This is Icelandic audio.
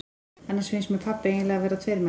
Annars finnst mér pabbi eiginlega vera tveir menn.